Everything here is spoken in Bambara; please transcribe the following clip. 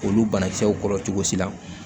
Olu banakisɛw kɔrɔ cogo si la